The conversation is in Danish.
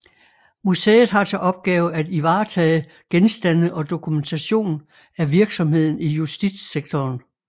Museet har til opgave at ivaretage genstande og dokumentation af virksomheden i justitssektoren